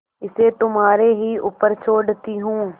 इसे तुम्हारे ही ऊपर छोड़ती हूँ